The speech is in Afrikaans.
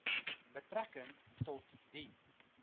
betrekking tot die